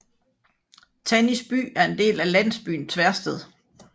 Tannisby er en del af landsbyen Tversted